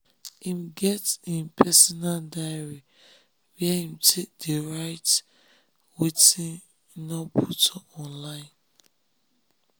im get im personal diary where im dey write wetin im nor wan put online